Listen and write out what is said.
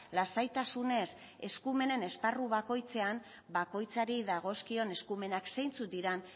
lasaitasunez eskumenen esparru bakoitzean bakoitzari dagozkion eskumenak zeintzuk diren